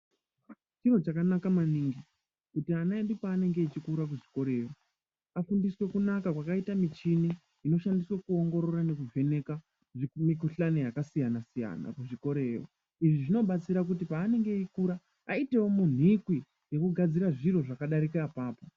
Chiro chakanaka maningi kuti ana edu panenge achikura kuzvikoroyo afundiswe kunaka kwakaite muchini inoshandiswe kuongorora nekuvheneka mikuhlani yakasiyana siyana kuchikorayo izvi zvinobatsira kuti panenge eikura aitewo munikwi wekugadzira zviro zvakadarika apapo.